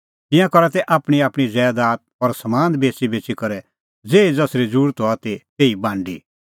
तिंयां करा तै आपणींआपणीं ज़ैदात और समान बेच़ीबेच़ी करै ज़ेही ज़सरी ज़रुरत हआ ती तेही बांडी